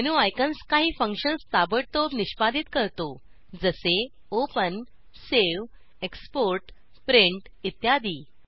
menu icons काही functions ताबडतोब निष्पादीत करतो जसे ओपन सेव्ह एक्सपोर्ट प्रिंट इत्यादी